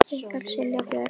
Ykkar Silja Björk.